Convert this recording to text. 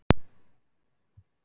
Þetta er mjög alvarlegt.